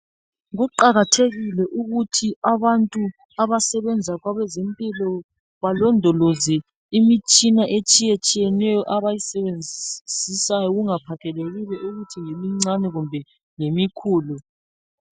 Kuqakathekile ukuthi abantu abasebenza kwabezempilo balondoloze imitshina etshiyetshiyeneyo abayisebenzisayo kungaphathekile ukuthi ngemincane kumbe ngemikhulu.